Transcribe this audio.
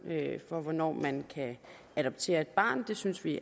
for hvornår man kan adoptere et barn det synes vi